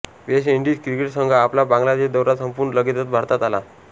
waste Indies cricket संघ आपला बांगलादेश दौरा संपवून लगेचच भारतात आला